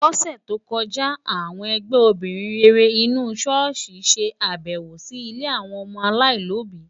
Lọ́sẹ̀ tó kọjá, àwọn ẹgbẹ́ obìnrin rere inú ṣọ́ọ̀ṣì ṣe àbẹ̀wò sí ilé àwọn ọmọ aláìlóbìí.